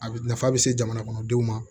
A nafa bɛ se jamana kɔnɔdenw ma